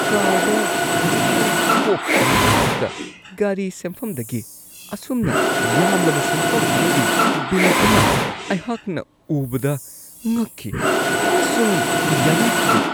Card ꯈꯖꯤꯛꯇꯪ ꯀꯣꯞꯄ ꯑꯃꯒꯤꯗꯃꯛꯇ ꯒꯥꯔꯤ ꯁꯦꯝꯐꯝꯗꯒꯤ ꯑꯁꯨꯝꯅ ꯌꯥꯝꯂꯕ ꯁꯦꯟꯐꯝ ꯑꯃꯒꯤ ꯕꯤꯜ ꯑꯃ ꯑꯩꯍꯥꯛꯅ ꯎꯕꯗ ꯉꯛꯈꯤ ꯑꯃꯁꯨꯡ ꯌꯥꯅꯤꯡꯈꯤꯗꯦ ꯫